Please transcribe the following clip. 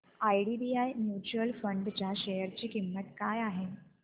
IDBI mutual fund च्या share ची किंमत काय आहे